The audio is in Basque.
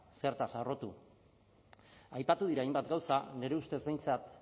zertaz harrotu aipatu dira hainbat gauza nire ustez behintzat